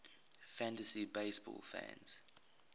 fantasy baseball fans